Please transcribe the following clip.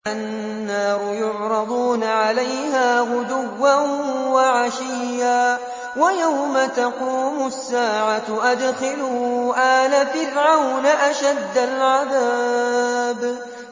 النَّارُ يُعْرَضُونَ عَلَيْهَا غُدُوًّا وَعَشِيًّا ۖ وَيَوْمَ تَقُومُ السَّاعَةُ أَدْخِلُوا آلَ فِرْعَوْنَ أَشَدَّ الْعَذَابِ